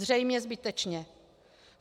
Zřejmě zbytečně.